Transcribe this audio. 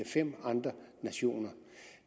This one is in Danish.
fem andre nationer